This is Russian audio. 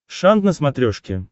шант на смотрешке